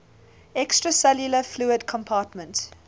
extracellular fluid compartment